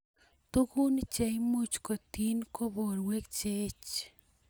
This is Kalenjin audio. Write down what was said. Tukun cheimuch kotyin ko borwek cheech.